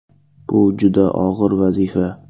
Bu juda og‘ir vazifa.